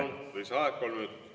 Palun, lisaaeg kolm minutit!